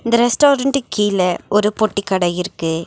இந்த ரெஸ்டாரன்ட் கீழ ஒரு பொட்டி கடை இருக்கு.